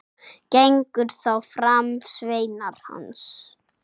Gengu þá fram sveinar hans.